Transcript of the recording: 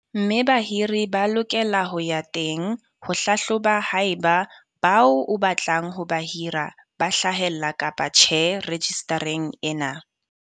Mme bahiri ba lokela ho ya teng ho hlahloba haeba bao o batlang ho ba hira ba hlahella kapa tjhe rejistareng ena.